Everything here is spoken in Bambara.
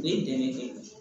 Ne dɛmɛ